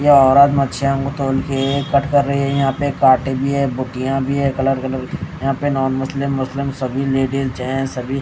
ये औरत मच्छिया को तौल के कट कर रही है यहा पे काटे भी है बोटिया भी है कलर कलर के यहा पे नॉन मुस्लिम-मुस्लिम सभी लेडीज जेंटस सभी --